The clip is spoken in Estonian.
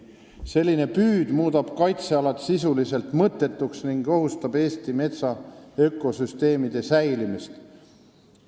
Selline püüd muudab kaitsealad sisuliselt mõttetuks ning ohustab Eesti metsa ökosüsteemide säilimist.